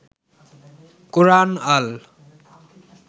কোরআন আল